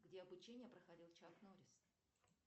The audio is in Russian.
где обучение проходил чак норрис